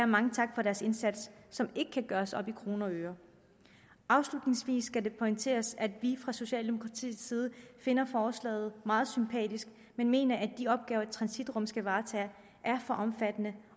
mange tak for deres indsats som ikke kan gøres op i kroner og øre afslutningsvis skal det pointeres at vi fra socialdemokratiets side finder forslaget meget sympatisk men mener at de opgaver et transitrum skal varetage er for omfattende